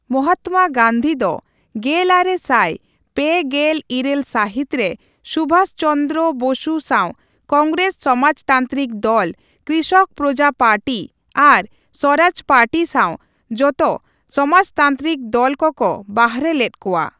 ᱢᱚᱦᱟᱛᱚᱢᱟ ᱜᱟᱹᱱᱫᱷᱤ ᱫᱚ ᱜᱮᱞᱟᱨᱮ ᱥᱟᱭ ᱯᱮ ᱜᱮᱞ ᱤᱨᱟᱹᱞ ᱥᱟᱹᱦᱤᱛ ᱨᱮ ᱥᱩᱵᱷᱟᱥ ᱪᱚᱸᱱᱫᱽᱨᱚ ᱵᱚᱥᱩ ᱥᱟᱣ ᱠᱚᱝᱜᱨᱮᱥ ᱥᱚᱢᱟᱡᱽᱛᱟᱱᱛᱨᱤᱠ ᱫᱚᱞ, ᱠᱨᱤᱥᱚᱠ ᱯᱨᱚᱡᱟ ᱯᱟᱨᱴᱤ ᱟᱨ ᱥᱚᱨᱟᱡᱽ ᱯᱟᱹᱴᱤ ᱥᱟᱣ ᱡᱚᱛᱚ ᱥᱚᱢᱟᱡᱛᱟᱱᱛᱨᱤᱠ ᱫᱚᱞ ᱠᱚᱠᱚ ᱵᱟᱨᱦᱮ ᱞᱮᱫ ᱠᱚᱣᱟ ᱾